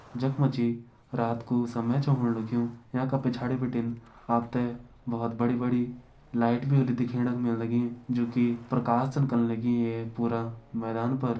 जख मा जी रात कू समय छ होण लग्युं येका पिछाड़ी बिटिन आप त बहोत बड़ी बड़ी लाइट भी दिखेण का मिलण लगीं जोकि प्रकाश छन कन लगीं ये पूरा मैदान पर।